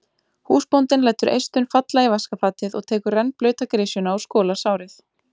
Húsbóndinn lætur eistun falla í vaskafatið og tekur rennblauta grisjuna og skolar sárið.